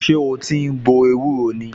Ṣé o ti ń gbo ewúro ni?